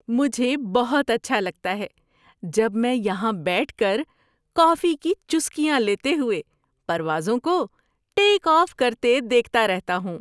مجھے بہت اچھا لگتا ہے جب میں یہاں بیٹھ کر کافی کی چسکیاں لیتے ہوئے پروازوں کو ٹیک آف کرتے دیکھتا رہتا ہوں۔